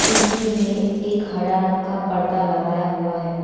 खिरकी में एक हरा रंग का पर्दा लगाया हुआ है।